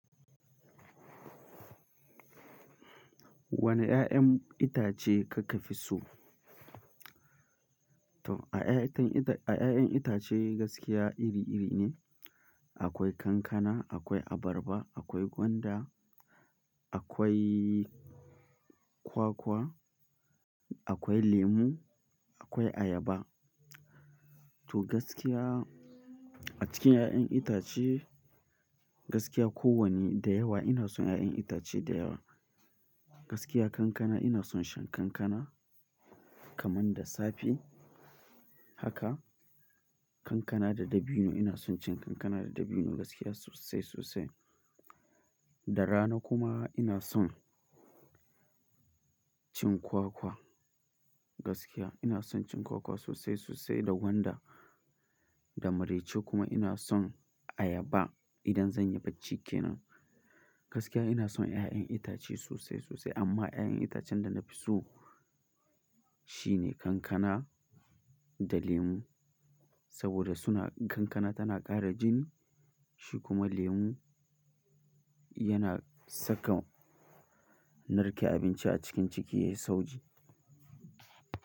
Wane 'ya'yan itace kake fi so? To a 'ya'yan itace, a 'ya'yan itace gaskiya iri-iri ne. Akwai kankana, akwai abarba, akwai gwanda, akwai kwakwa, akwai lemu, akwai ayaba. To gaskiya a cikin 'ya'yan itace gaskiya kowanne da yawa ina son 'ya'yan itace da yawa. Gaskiya kankana ina son shan kankana kamar da safe haka kankana da dabino ina son cin kankana da dabino gaskiya sosai, sosai. Da rana kuma ina son cin kwakwa gaskiya ina son cin kwakwa sosai, sosai da gwanda, da marece kuma ina son ayaba idan zan yi bacci kenan. Gaskiya ina son 'ya'yan itace sosai, sosai amma 'ya'yan itacen da na fi so shine kankana da lemu saboda suna kankana tana ƙara jini shi kuma lemu yana saka narke abinci a cikin ciki ya yi sauki.